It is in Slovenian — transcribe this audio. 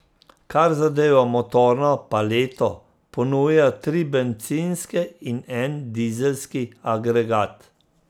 Kar zadeva motorno paleto, ponuja tri bencinske in en dizelski agregat.